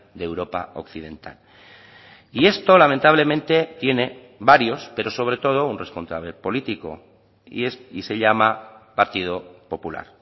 de europa occidental y esto lamentablemente tiene varios pero sobre todo un responsable político y es y se llama partido popular